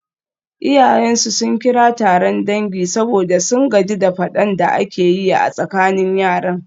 Iyayensu sun kira taron dangi saboda sun gaji da fadan da ake yi a tsakanin yaran.